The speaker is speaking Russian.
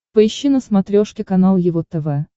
поищи на смотрешке канал его тв